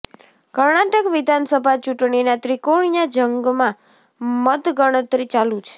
કર્ણાટક વિધાનસભા ચૂંટણીના ત્રિકોણીયા જંગમાં મતગણતરી ચાલુ છે